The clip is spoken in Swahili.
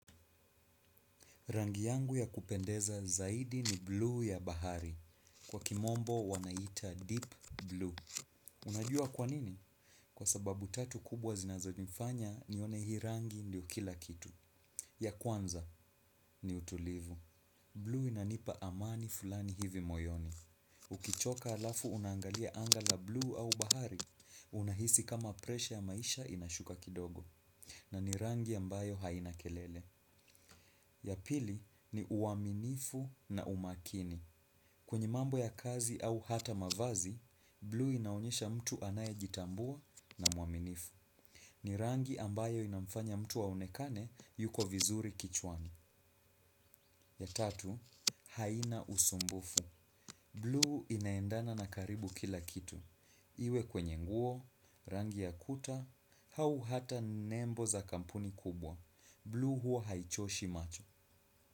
Rangi yangu ya kupendeza zaidi ni blue ya bahari. Kwa kimombo wanaitia deep blue. Unajua kwanini? Kwa sababu tatu kubwa zinazonifanya nione hii rangi ndio kila kitu. Ya kwanza ni utulivu. Blue inanipa amani fulani hivi moyoni. Ukichoka halafu unaangalia anga la blue au bahari, unahisi kama presha ya maisha inashuka kidogo. Na ni rangi ambayo haina kelele. Ya pili ni uaminifu na umakini. Kwenye mambo ya kazi au hata mavazi, blue inaonyesha mtu anaye jitambua na mwaminifu. Ni rangi ambayo inafanya mtu aonekane yuko vizuri kichwani. Ya tatu, haina usumbufu. Blue inaendana na karibu kila kitu. Iwe kwenye nguo, rangi ya kuta, au hata nembo za kampuni kubwa. Blue huwa haichoshi macho.